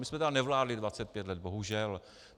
My jsme tedy nevládli 25 let, bohužel.